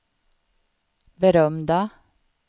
berömda